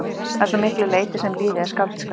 Að svo miklu leyti sem lífið er skáldskapur.